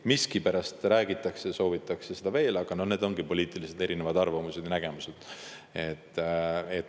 Miskipärast seda räägitakse, aga need ongi erinevad poliitilised arvamused ja nägemused.